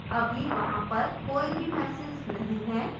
अभी वहाँ पर कोई भी messages नहीं है